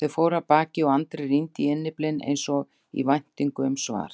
Þau fóru af baki og Andri rýndi í innyflin eins og í væntingu um svar.